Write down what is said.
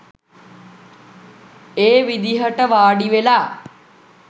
ඒ විදිහට වාඩිවෙලා